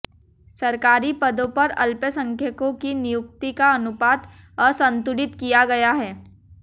सरकारी पदों पर अल्पसंख्यकों की नियुक्ति का अनुपात असंतुलित किया गया है